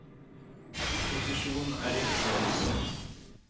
Posisjon er ikke noe du får.